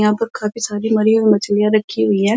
यहाँ पर काफी सारी मरी हुई मछलियाँ रखी हुई हैं।